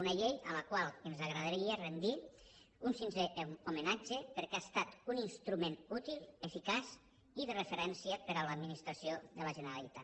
una llei a la qual ens agradaria rentre un sincer homenatge perquè ha estat un instrument útil eficaç i de referència per a l’administració de la generalitat